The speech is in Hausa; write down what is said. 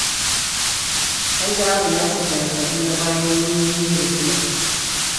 An dawo da Nasir daga Kaduna bayan mun yi niyyar zuwa